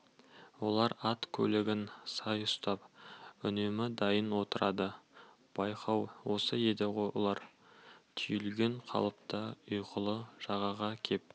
олар ат-көлігін сай ұстап үнемі дайын отырады байлау осы еді олар түйілген қалыпта ұйқылы жағаға кеп